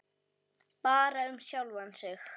Bara um sjálfan sig.